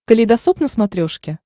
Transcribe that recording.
калейдосоп на смотрешке